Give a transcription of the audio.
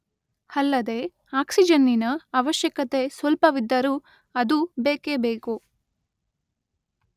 ಅಲ್ಲದೆ ಆಕ್ಸಿಜನ್ನಿನ ಅವಶ್ಯಕತೆ ಸ್ವಲ್ಪವಿದ್ದರೂ ಅದು ಬೇಕೇಬೇಕು.